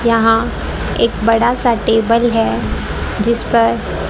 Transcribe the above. यहां एक बड़ा सा टेबल है जिस पर--